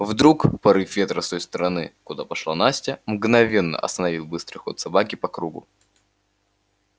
вдруг порыв ветра с той стороны куда пошла настя мгновенно остановил быстрый ход собаки по кругу